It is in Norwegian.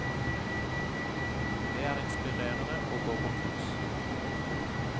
Det er inspirerende å gå på kurs.